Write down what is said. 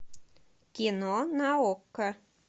кино на окко